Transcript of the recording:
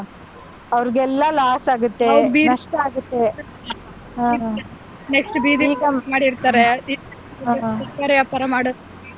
ಅವರಗೆಲ್ಲ Loss ಆಗುತ್ತೆ .